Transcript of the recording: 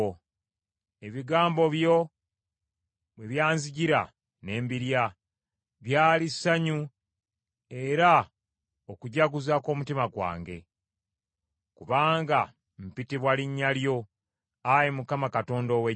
Ebigambo byo bwe byanzijira, ne mbirya, byali ssanyu era okujaguza kw’omutima gwange. Kubanga mpitibwa linnya lyo, Ayi Mukama Katonda ow’Eggye.